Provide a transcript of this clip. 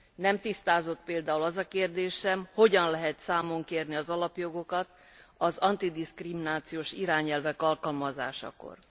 Nem tisztázott például az a kérdés sem, hogyan lehet számon kérni az alapjogokat az diszkrimináció elleni irányelvek alkalmazásakor?